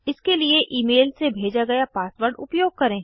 इसके लिए ईमेल से भेजा गया पासवर्ड उपयोग करें